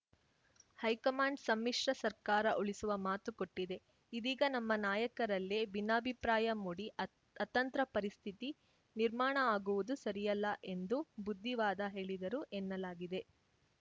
high command ಸಮ್ಮಿಶ್ರ ಸರ್ಕಾರ ಉಳಿಸುವ ಮಾತು ಕೊಟ್ಟಿದೆ ಇದೀಗ ನಮ್ಮ ನಾಯಕರಲ್ಲೇ ಭಿನ್ನಾಭಿಪ್ರಾಯ ಮೂಡಿ ಅತ್ ಅತಂತ್ರ ಪರಿಸ್ಥಿತಿ ನಿರ್ಮಾಣ ಆಗುವುದು ಸರಿಯಲ್ಲ ಎಂದು ಬುದ್ಧಿವಾದ ಹೇಳಿದರು ಎನ್ನಲಾಗಿದೆ